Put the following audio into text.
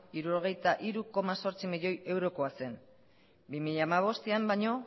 hirurogeita hiru koma zortzi milioi eurokoa zen bi mila hamabostan baino